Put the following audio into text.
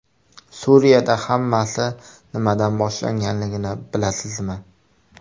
Suriyada hammasi nimadan boshlanganligini bilasizmi?